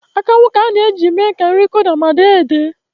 Akanwụ ka a na-eji eme ka nri Kụda ma dee edee